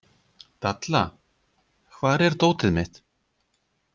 Dalla, hvar er dótið mitt?